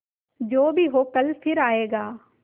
जो भी हो कल फिर आएगा